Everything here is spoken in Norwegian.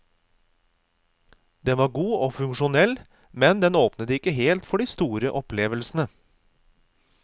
Den var god og funksjonell, men den åpnet ikke helt for de store opplevelsene.